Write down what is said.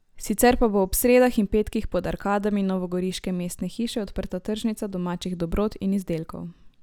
Sicer pa bo ob sredah in petkih pod arkadami novogoriške mestne hiše odprta tržnica domačih dobrot in izdelkov.